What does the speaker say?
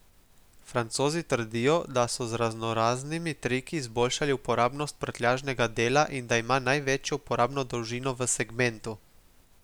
Francozi trdijo, da so z raznoraznimi triki izboljšali uporabnost prtljažnega dela in da ima največjo uporabno dolžino v segmentu.